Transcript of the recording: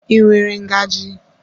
I nwere ngaji?